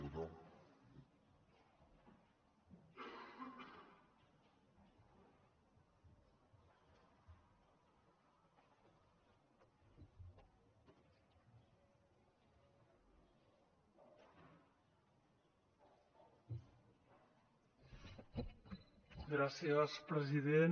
gràcies president